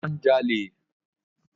Ọlá ń jalè